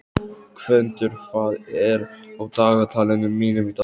Gvöndur, hvað er á dagatalinu mínu í dag?